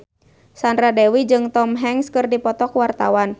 Sandra Dewi jeung Tom Hanks keur dipoto ku wartawan